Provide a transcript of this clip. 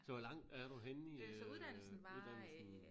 Så hvor langt er du henne i øh uddannelsen